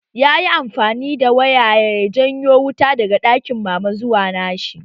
Yayi amfani da waya ya janyo wuta daga ɗakin mama zuwa nashi